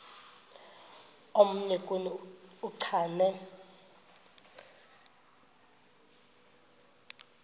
omnye kuni uchane